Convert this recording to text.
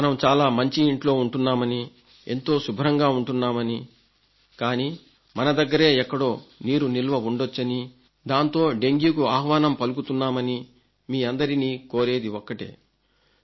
మనం చాలా మంచి ఇంట్లో ఉంటున్నామనీ ఎంతో శుభ్రంగా ఉంటున్నామనీ కానీ మన దగ్గరే ఎక్కడో నీరు నిల్వ ఉండొచ్చనీ దాంతో డెంగ్యూకు ఆహ్వానం పలుకుతున్నామనీ మీ అందరినీ కోరేది ఒక్కటే